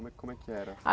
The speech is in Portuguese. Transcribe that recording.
Como é como é que era?